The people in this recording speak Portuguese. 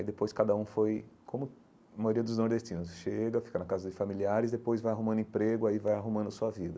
Aí depois cada um foi, como a maioria dos nordestinos, chega, fica na casa dos familiares, depois vai arrumando emprego, aí vai arrumando sua vida.